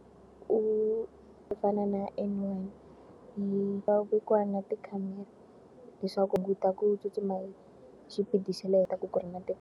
U ku fana na ya N one yi nga vekiwa na tikhamera leswaku hunguta ku tsutsuma hi xipidi xa le henhla .